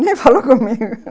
Nem falou comigo